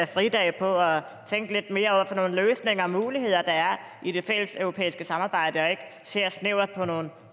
fridage på at tænke lidt mere over de løsninger og muligheder der er i det fælleseuropæiske samarbejde og ikke ser snævert